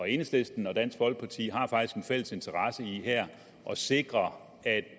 enhedslisten og dansk folkeparti har faktisk en fælles interesse i her at sikre at